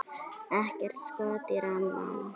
Ekkert skot á rammann?